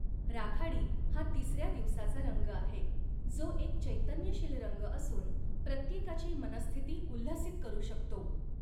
राखाडी हा तिसर्या दिवसाचा रंग आहे, जो एक चैतन्यशील रंग असून प्रत्येकाची मनःस्थिती उल्हसित करू शकतो.